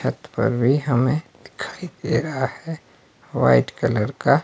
छत पर भी हमें दिखाई दे रहा है व्हाइट कलर का--